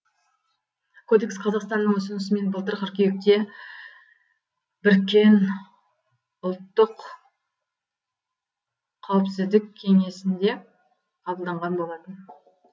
кодекс қазақстанның ұсынысымен былтыр қыркүйекте біріккен ұлттық қауіпсіздік кеңесінде қабылданған болатын